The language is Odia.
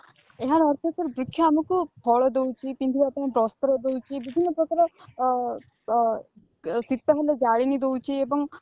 ଏହାର ଅର୍ଥ sir ବୃକ୍ଷ ଆମକୁ ଫଳ ଦଉଛି ପିନ୍ଧିବା ପାଇଁ ବସ୍ତ୍ର ଦଉଛି ବିଭିନ୍ନ ପ୍ରକାର ଅ ଶୀତ ହେଲେ ଜାଳେଣୀ ଦଉଛି